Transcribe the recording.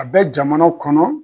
A bɛ jamana kɔnɔ.